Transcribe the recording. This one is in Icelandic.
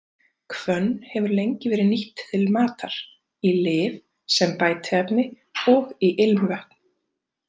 Hvönn hefur lengi verið nýtt til matar, í lyf, sem bætiefni og í ilmvötn.